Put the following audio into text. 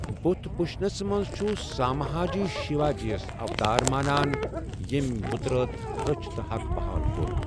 بُدھ بھُشنس منز چھُ سامًھا جی شِوا جِیس اوتار مانان ییمہِ بُتراتھ رٕچھِ تہٕ حق بہال کوٚر ۔